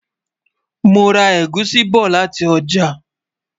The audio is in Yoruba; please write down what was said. mọ rà egusi bó láti ọjà